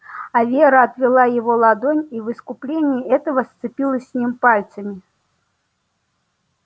а вера отвела его ладонь и в искупление этого сцепилась с ним пальцами